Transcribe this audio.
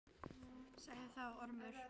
Sagði þá Ormur